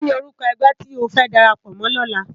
Kini órúkò ègbè ti ó fè dàrápò mò lòlá?